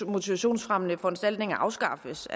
motivationsfremmende foranstaltninger afskaffes